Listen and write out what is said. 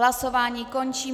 Hlasování končím.